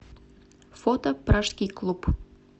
фото пражский клуб